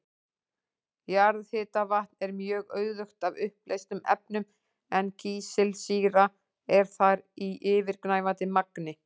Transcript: Jarðhitavatn er mjög auðugt af uppleystum efnum en kísilsýra er þar í yfirgnæfandi magni.